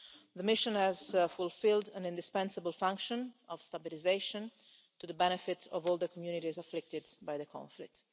The mission has fulfilled an indispensable function of stabilisation, to the benefit of all the communities afflicted by the conflict.